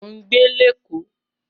Mò ń gbé Lẹ́kọ́ọ̀